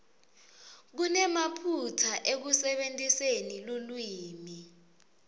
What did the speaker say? kunemaphutsa ekusebentiseni lulwimi